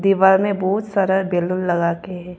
दीवार में बहुत सारा बैलून लगा के।